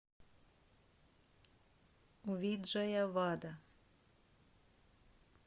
виджаявада